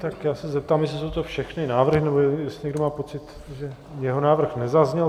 Tak já se zeptám, jestli jsou to všechny návrhy, nebo jestli někdo má pocit, že jeho návrh nezazněl.